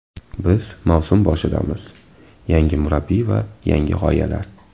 Biz mavsum boshidamiz, yangi murabbiy va yangi g‘oyalar.